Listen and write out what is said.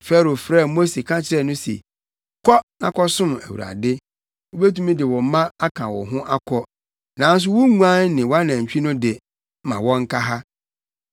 Farao frɛɛ Mose ka kyerɛɛ no se, “Kɔ na kɔsom Awurade. Wubetumi de wo mma aka wo ho akɔ; nanso wo nguan ne wʼanantwi no de, ma wɔnka ha.”